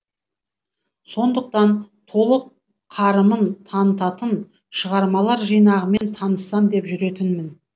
сондықтан толық қарымын танытатын шығармалар жинағымен таныссам деп жүретінмін